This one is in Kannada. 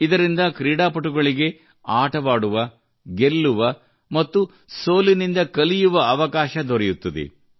ಇದರಿಂದ ಕ್ರೀಡಾಪಟುಗಳಿಗೆ ಆಟವಾಡುವ ಗೆಲ್ಲುವ ಮತ್ತು ಸೋಲಿನಿಂದ ಕಲಿಯುವ ಅವಕಾಶ ದೊರೆಯುತ್ತದೆ